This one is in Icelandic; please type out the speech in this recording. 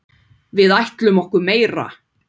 Við ætlum okkur meira.